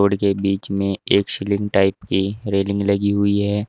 Road के बीच में एक स्लिम टाइप की रेलिंग लगी हुई है।